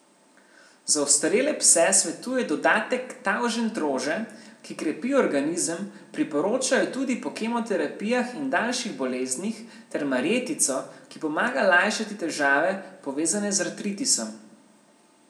Za ostarele pse svetuje dodatek tavžentrože, ki krepi organizem, priporoča jo tudi po kemoterapijah in daljših boleznih, ter marjetico, ki pomaga lajšati težave, povezane z artritisom.